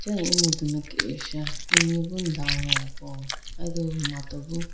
aye emudu mai kesha ini bi dawo eya po aye do mato bo.